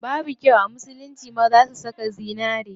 Babu kyau a musulunci maza su saka zinari.